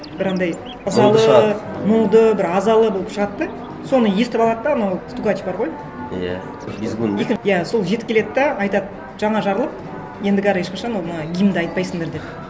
бір андай ызалы мұнды бір азалы болып шығады да соны естіп алады да анау стукач бар ғой иә визгун иә сол жетіп келеді де айтады жаңа жарлық ендігәрі ешқашан оны гимнді айтпайсыңдар деп